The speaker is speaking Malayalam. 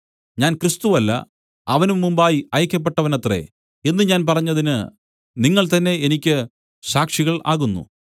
ഞാൻ ക്രിസ്തു അല്ല അവന് മുമ്പായി അയയ്ക്കപ്പെട്ടവനത്രേ എന്നു ഞാൻ പറഞ്ഞതിന് നിങ്ങൾ തന്നേ എനിക്ക് സാക്ഷികൾ ആകുന്നു